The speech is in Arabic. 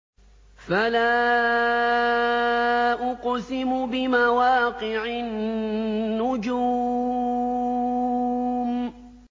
۞ فَلَا أُقْسِمُ بِمَوَاقِعِ النُّجُومِ